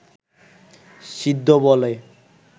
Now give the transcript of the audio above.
সিদ্ধ বলে